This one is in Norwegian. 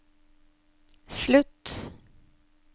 slutt